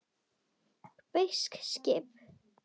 Bresk skip!